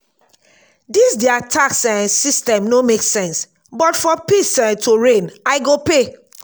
dis their tax um system no make sense but for peace um to reign i go pay